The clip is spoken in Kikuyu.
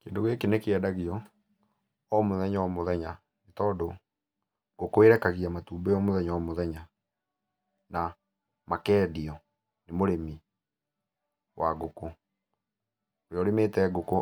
Kĩndũ gĩkĩ nĩkĩendagio o mũthenya o mũthenya, nĩtondũ ngũkũ ĩrekagia matumbĩ o mũthenya o mũthenya, na makendio nĩ mũrĩmi wa ngũkũ, ũrĩa ũrĩmĩte ngũkũ